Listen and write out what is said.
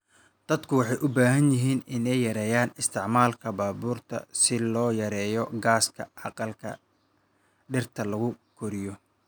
Dadku waxay u baahan yihiin inay yareeyaan isticmaalka baabuurta si loo yareeyo gaaska aqalka dhirta lagu koriyo.